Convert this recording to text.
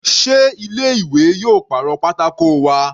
Sé ilé ìwé yóò pàrọ̀ pátákó wa?